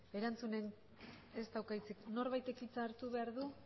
norbaitek hitza hartu behar du